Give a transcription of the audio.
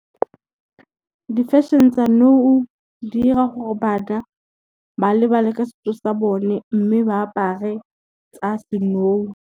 Di-fashion tsa nou di 'ira gore bana ba lebale ka setso sa bone mme ba apare tsa se nou.